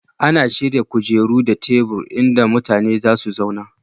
Ana shirya kujeru da tebur inda mutane za su zauna